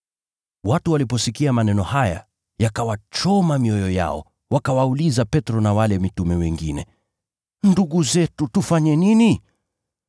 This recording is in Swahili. Watu waliposikia maneno haya yakawachoma mioyo yao, wakawauliza Petro na wale mitume wengine, “Ndugu zetu tufanye nini?”